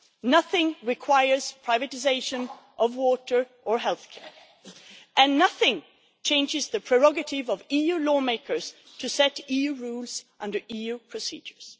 nothing requires privatisation of water or healthcare, and nothing changes the prerogative of EU lawmakers to set EU rules under EU procedures.